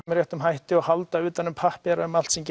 með réttum hætti og halda utan um pappíra um allt sem